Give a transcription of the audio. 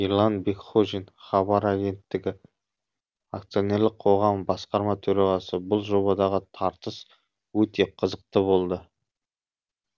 ерлан бекхожин хабар агенттігі акционерлік қоғам басқарма төрағасы бұл жобадағы тартыс өте қызықты болды